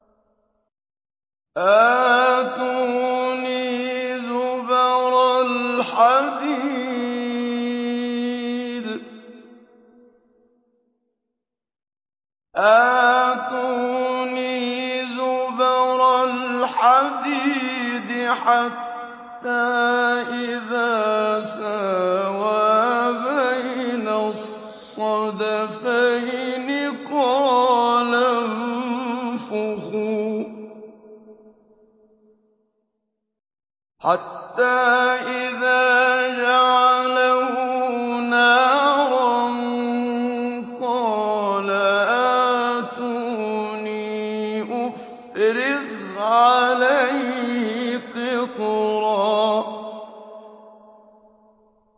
آتُونِي زُبَرَ الْحَدِيدِ ۖ حَتَّىٰ إِذَا سَاوَىٰ بَيْنَ الصَّدَفَيْنِ قَالَ انفُخُوا ۖ حَتَّىٰ إِذَا جَعَلَهُ نَارًا قَالَ آتُونِي أُفْرِغْ عَلَيْهِ قِطْرًا